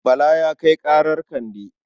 Bala ya kai ƙarar Kande.